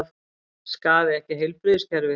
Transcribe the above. Skaði ekki heilbrigðiskerfið